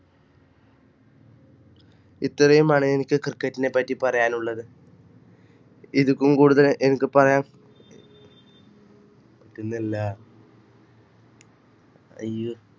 ഇത്രയുമാണ് എനിക്ക് cricket നെ പറ്റി പറയാനുള്ളത് ഇതുക്കും കൂടുതൽ എനിക്ക് പറയാൻ പറ്റുന്നില്ല അയ്യോ